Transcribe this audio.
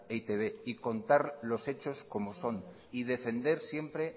e i te be y contar los hechos como son y defender siempre